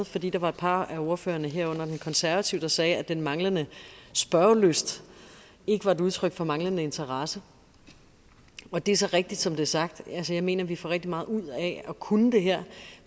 fordi der var et par af ordførerne herunder den konservative der sagde at den manglende spørgelyst ikke var et udtryk for manglende interesse og det er så rigtigt som det er sagt altså jeg mener at vi får rigtig meget ud af at kunne det her